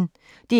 DR P1